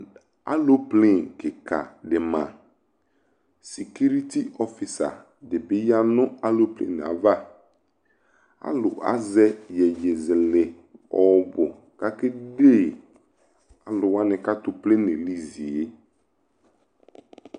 Aloplen kɩka dɩ ma Sikeliti ɔfɩsa dɩ bɩ ya nʋ aloplen yɛ ava Alʋ azɛ iyeyezɛlɛ ɔɔbʋ kʋ akede alʋ wanɩ kʋ atʋ plen yɛ li zi yɛ